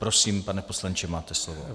Prosím, pane poslanče, máte slovo.